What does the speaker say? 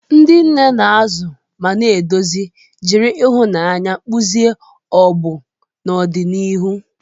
Ndị nne na-azụ ma na-eduzi, jiri ịhụnanya kpụzie ọgbọ n'ọdịnihu.